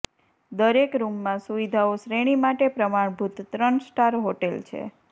દરેક રૂમમાં સુવિધાઓ શ્રેણી માટે પ્રમાણભૂત ત્રણ સ્ટાર હોટેલ છે